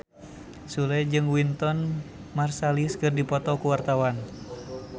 Sule jeung Wynton Marsalis keur dipoto ku wartawan